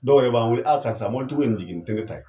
Dɔw yɛrɛ b'an weele aa karisa mɔbili tigiw ye in jigi ni te ne ta ye